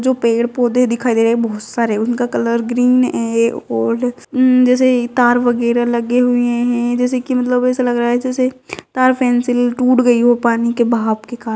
जो पेड़-पौधे दिखाई दे रहे हैं बहुत सारे उनका कलर ग्रीन है और जैसे तार वगेरा लगे हुए है जैसे की मतलब ऐसा लग रहा है जैसे तार फेंसिंग टूट गई हो पानी के बहाव के कार--